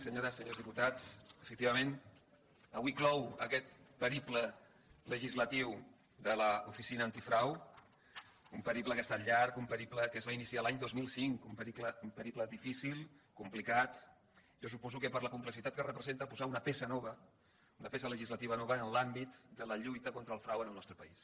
senyores senyors diputats efectivament avui clou aquest periple legislatiu de l’oficina antifrau un periple que ha estat llarg un periple que es va iniciar l’any dos mil cinc un periple difícil complicat jo suposo que per la complexitat que representa posar una peça nova una peça legislativa nova en l’àmbit de la lluita contra el frau en el nostre país